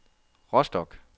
Rostock